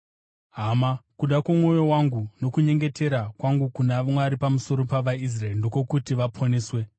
Hama, kuda kwomwoyo wangu nokunyengetera kwangu kuna Mwari pamusoro pavaIsraeri ndekwokuti vaponeswe.